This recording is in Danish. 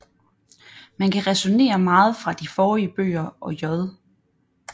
Man kan ræsonere meget fra de forrige bøger og J